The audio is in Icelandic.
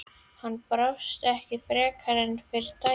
Hann brást ekki frekar en fyrri daginn.